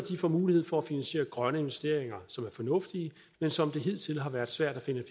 får mulighed for at finansiere grønne investeringer som er fornuftige men som det hidtil har været svært at finde